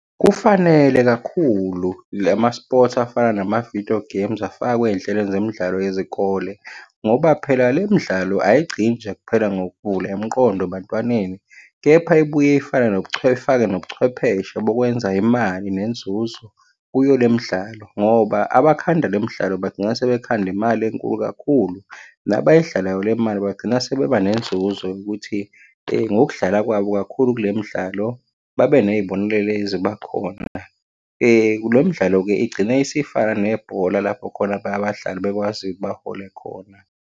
Kufanele kakhulu lama-sports afana nama-video games afakwe ey'nhlelweni zemidlalo yezikole, ngoba phela le midlalo ayigcini nje kuphela ngokuvula imiqondo ebantwaneni, kepha ibuye ifane ifake nobuchwepheshe bokwenza imali nenzuzo kuyo le midlalo, ngoba abakhanda le midlalo bagcina sebekhanda imali enkulu kakhulu. Nabayidlalayo le mali bagcina sebeba nenzuzo yokuthi ngokudlala kwabo kakhulu kule midlalo, babe ney'bonelelo ey'zoba khona. Lo mdlalo-ke igcine isifana nebhola lapho khona abanye abadlali bekwazi-ke bahole khona.